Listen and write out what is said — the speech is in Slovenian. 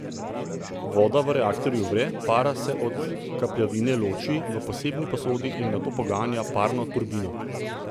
Voda v reaktorju vre, para se od kapljevine loči v posebni posodi in nato poganja parno turbino.